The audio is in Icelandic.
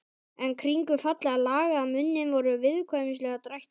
En kringum fallega lagaðan munninn voru viðkvæmnislegir drættir.